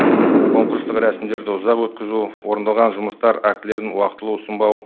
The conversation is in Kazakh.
конкурстық рәсімдерді ұзақ өткізу орындалған жұмыстар актілерін уақытылы ұсынбау